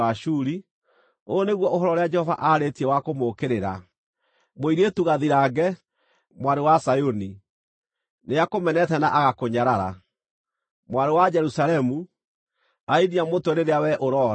Ũyũ nĩguo ũhoro ũrĩa Jehova aarĩtie wa kũmũũkĩrĩra: “ ‘Mũirĩtu Gathirange, Mwarĩ wa Zayuni, nĩakũmenete na agakũnyarara. Mwarĩ wa Jerusalemu arainia mũtwe rĩrĩa wee ũroora.